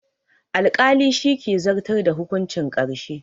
Alƙali shi ke zartar da hukuncin ƙarshe